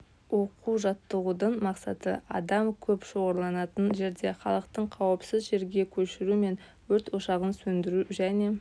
оқу-жаттығудың мақсаты адам көп шоғырланатын жерде халықты қауіпсіз жерге көшіру және өрт ошағын сөндіру және